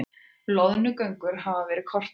Loðnugöngur hafa verið kortlagðar